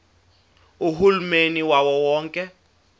uhulumeni wawo wonke